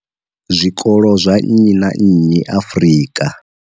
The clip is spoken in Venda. Zwikolo zwa nnyi na nnyi Afrika.